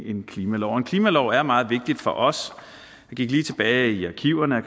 en klimalov og en klimalov er meget vigtig for os jeg gik lige tilbage i arkiverne og